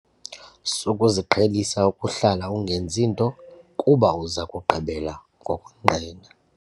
Sukuziqhelisa ukuhlala ungenzi nto kuba uza kugqibela ngokonqena.